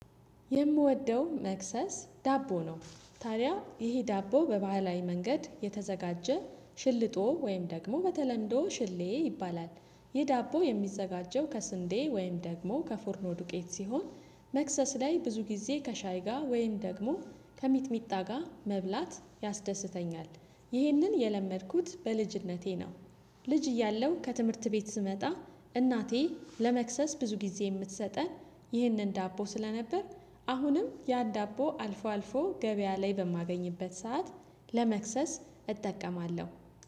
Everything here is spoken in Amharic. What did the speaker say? የምወደው መክሰስ ዳቦ ነው። ታዲያ ይሄ ዳቦ በባህላዊ መንገድ የተዘጋጀ ሽልጦ ወይም ደግሞ በተለምዶ ሽሌ ይባላል። ይህ ዳቦ የሚዘጋጀው ከስንዴ ወይም ደግሞ ከፉርኖ ዱቄት ሲሆን። መክሰስ ላይ ብዙ ጊዜ ከሻይ ጋር ወይም ደግሞ ከሚጥሚጣ ጋር መብላት ያስደስተኛል። ይህንን የለመድኩት በልጅነቴ ነው። ልጅ እያለሁ ከትምህርት ቤት ስመጣ እናቴ ለመክሰስ ብዙ ጊዜ የምትሰጠን ይህንን ዳቦ ስለነበር። አሁንም ያን ዳቦ አልፎ አልፎ ገበያ ላይ በማገኝበት ሰዓት ለመክሰስ እጠቀማለሁ፤